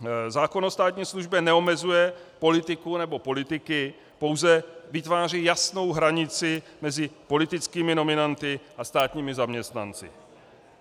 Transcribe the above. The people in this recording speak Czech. Zákon o státní službě neomezuje politiku nebo politiky, pouze vytváří jasnou hranici mezi politickými nominanty a státními zaměstnanci.